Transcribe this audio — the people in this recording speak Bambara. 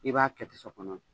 I b'a kɛ kɔnɔ.